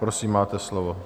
Prosím, máte slovo.